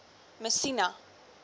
messina